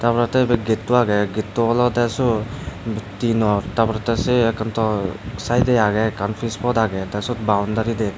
tar porey te ibey getto agey getto olodey suot dinot tarporey te se ekke saidey agey ekkan peas pot agey te suot boundary de.